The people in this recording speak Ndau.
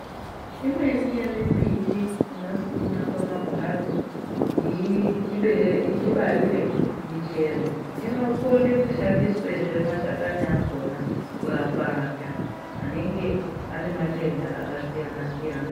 Imweni yemimbiti inosimwa pamambatso kuti itibarire michero, inokone kushandiswezve mashakani akona kurapa antu anenge anematenda akasiyana-siyana.